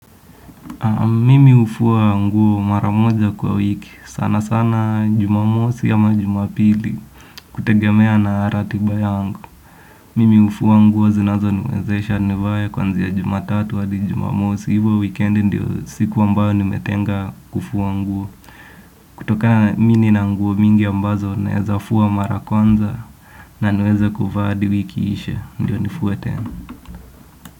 Mimi ufuwa nguo maramoja kwa wiki. Sana sana jumamosi ama jumapili kutegemea na ratiba yangu. Mimi ufuwa nguo zinazo niwezesha nivae kuanzia jumatatu hadi jumamosi. Ni wikiendi si kwamba nimetenga kufua nguo. Kutokana mimi nina nguo mingi ambazo nawezafua mara ya kwanza na niweze kuvaa hadi wiki iishe. Ndio nifue tena.